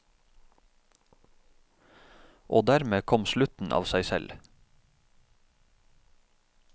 Og dermed kom slutten av seg selv.